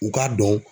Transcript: U k'a dɔn